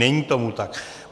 Není tomu tak.